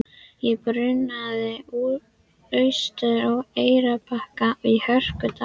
Ég brunaði austur á Eyrarbakka í hörkugaddi.